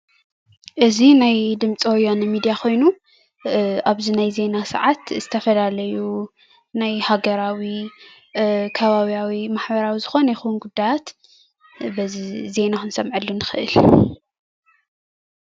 እዚ ናይ ድምፂ ወያነ ሚድያ ኮይኑ ኣብዚ ናይ ዜና ሰዓት ናይ ዝተፈላለዩ ሃገራዊ ከባብያዊ ማሕበራዊ ዝኮነ ይኩን ጉዳያት በዚ ዜና ክንሰምዓሉ ንክእል።